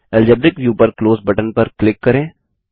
algebraic view पर close button पर click करें